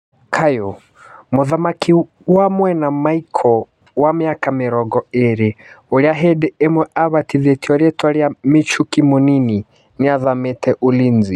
(Kayũ). Mũthaki wa mwena Maiko, wa mĩaka mĩrongo ĩrĩ, ũrĩa hindĩ ĩmwe abatithĩtio rĩtwa rĩa "Michuki mũnini" nĩathamĩte Ulinzi.